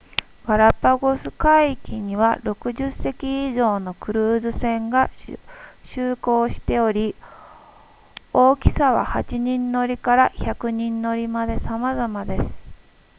ガラパゴス海域には60隻以上のクルーズ船が就航しており大きさは8人乗りから100人乗りまでさまざまです